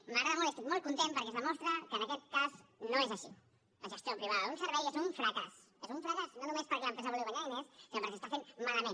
m’agrada molt i estic molt content perquè es demostra que en aquest cas no és així la gestió privada d’un servei és un fracàs és un fracàs no només perquè l’empresa vulgui guanyar diners sinó perquè s’està fent malament